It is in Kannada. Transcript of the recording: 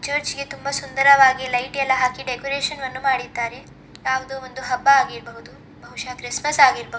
ಚರ್ಚಿಗೆ ತುಂಬಾ ಸುಂದರವಾಗಿ ಲೈಟ್ ಎಲ್ಲ ಹಾಕಿ ಡೆಕೋರೇಷನ್ ಅನ್ನು ಮಾಡಿದ್ದಾರೆ. ಯಾವ್ದೋ ಒಂದು ಹಬ್ಬ ಆಗಿರ್ಬಹುದು ಬಹುಶ ಕ್ರಿಸ್ಮಸ್ ಆಗಿರ್ಬಹುದು.